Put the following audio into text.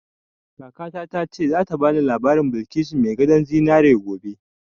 Kakata ta ce za ta bani labarin Balkisu mai gadon zinari gobe